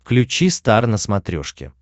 включи стар на смотрешке